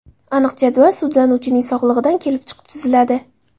Aniq jadval sudlanuvchining sog‘lig‘idan kelib chiqib tuziladi.